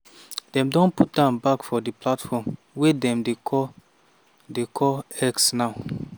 dem don put am back for di platform wey dem dey call dey call x now.